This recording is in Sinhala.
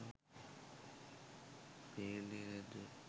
පේන්නේ නැද්ද?